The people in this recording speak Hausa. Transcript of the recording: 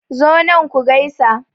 Zo nan ku gaisa.